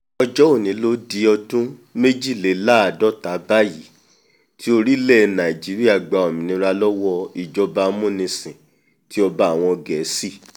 ọjọ́ òní ló di ọdún méjìléláàádọ́ta báyìí tí orílẹ̀ nàìjíríà gba òmìnira lọ́wọ́ ìjọba amúnisìn ti ọba àwọn gẹ̀ẹ́sì